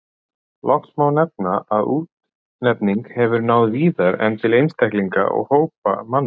Loks má nefna að útnefningin hefur náð víðar en til einstaklinga og hópa manna.